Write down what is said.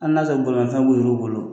Hali n'a ya sɔrɔ tolatan b'olu bolo.